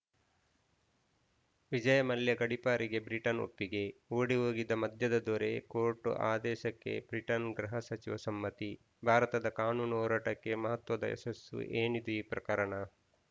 ವಿಜಯ್‌ ಮಲ್ಯ ಗಡೀಪಾರಿಗೆ ಬ್ರಿಟನ್‌ ಒಪ್ಪಿಗೆ ಓಡಿ ಹೋಗಿದ್ದ ಮದ್ಯದ ದೊರೆ ಕೋರ್ಟ್‌ ಆದೇಶಕ್ಕೆ ಬ್ರಿಟನ್‌ ಗೃಹ ಸಚಿವ ಸಮ್ಮತಿ ಭಾರತದ ಕಾನೂನು ಹೋರಾಟಕ್ಕೆ ಮಹತ್ವದ ಯಶಸ್ಸು ಏನಿದಿ ಪ್ರಕರಣ